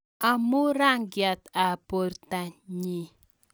Amu rangiat ab portanyi.